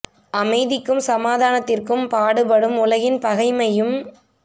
அமைத்திக்கும் சமாதானத்திற்கும் பாடுபடும் உலகில் பகைமையையும்